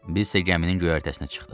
Bizsə gəminin göyərtəsinə çıxdıq.